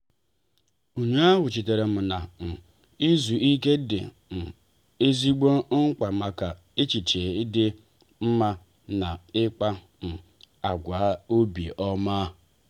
ụnyaahụ chetaram na um izu ike dị um ezigbo mkpa maka echiche dị mma na ikpa um agwa obi ọma.